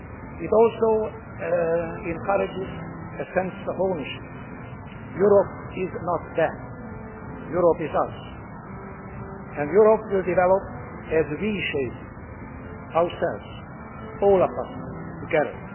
It also encourages a sense of ownership Europe is not them Europe is us, and Europe will develop as we shape it ourselves, all of us together.